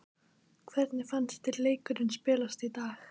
Hvernig fannst þér leikurinn spilast í dag?